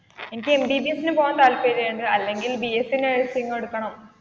എനിക്ക് M. B. B. S പോകാൻ താല്പര്യമുണ്ട് അല്ലെങ്കിൽ ബിഎസ്സിനഴ്സിംഗ് എടുക്കണം.